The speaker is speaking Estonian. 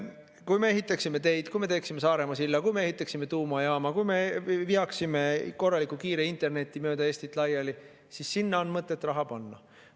Kui me ehitaksime teid, kui me teeksime Saaremaa silla, kui me ehitaksime tuumajaama, kui me veaksime korraliku kiire interneti mööda Eestit laiali, siis oleks mõtet.